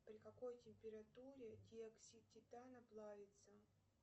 при какой температуре диоксид титана плавится